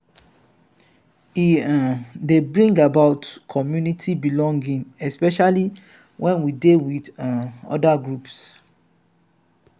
e um dey bring about community belonging especially when we dey with um oda groups